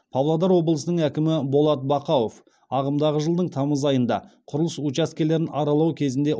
павлодар облысының әкімі болат бақауов ағымдағы жылдың тамыз айында құрылыс учаскелерін аралау кезінде